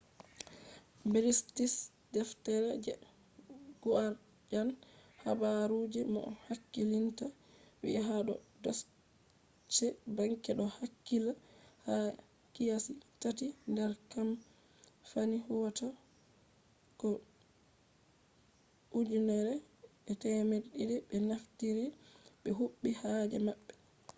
british deftere the guardian habaru je moh hakkilinta vi'i ha do deutsche bank do hakkilla ha kiyasi tati nder kamfani huwatako 1200 be naftiri ɓe huɓi haaje maɓɓe